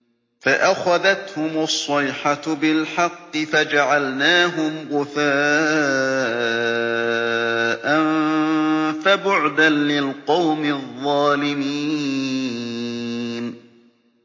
فَأَخَذَتْهُمُ الصَّيْحَةُ بِالْحَقِّ فَجَعَلْنَاهُمْ غُثَاءً ۚ فَبُعْدًا لِّلْقَوْمِ الظَّالِمِينَ